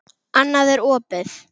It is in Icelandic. Annað er opið.